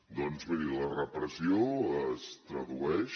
doncs miri la repressió es tradueix